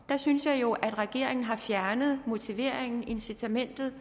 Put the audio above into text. synes jeg jo at regeringen har fjernet motiveringen incitamentet